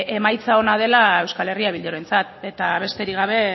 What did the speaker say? emaitza ona dela euskal herria bildurentzat eta besterik gabe